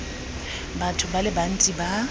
batho ba le bantsi ba